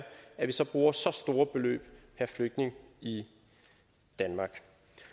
bruger så store beløb per flygtning i danmark